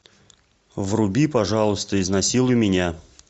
вруби пожалуйста изнасилуй меня